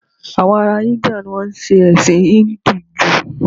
Àwọn ará Íńdíà ni wọn ń ṣe ẹ̀sìn Híńdù jù